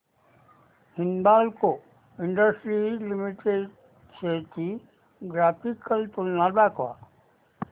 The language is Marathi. हिंदाल्को इंडस्ट्रीज लिमिटेड शेअर्स ची ग्राफिकल तुलना दाखव